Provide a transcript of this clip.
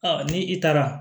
ni i taara